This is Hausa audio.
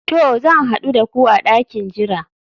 To, zan hadu da ku a dakin jira